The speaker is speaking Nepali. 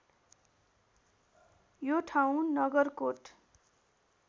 यो ठाउँ नगरकोट